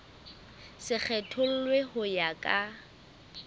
se kgethollwe ho ya ka